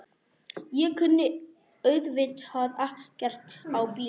Ég kunni auðvitað ekkert á bíla.